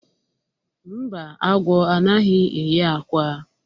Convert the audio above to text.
mba, agwọ anaghi eyi ákwà